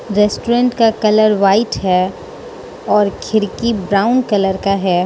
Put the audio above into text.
Restaurant का colour white है और खिड़की ब्राउन कलर का है।